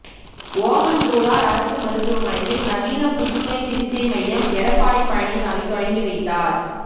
ஓமந்தூரார் அரசு மருத்துவமனையில் நவீன புற்றுநோய் சிகிச்சை மையம் எடப்பாடி பழனிசாமி தொடங்கி வைத்தார்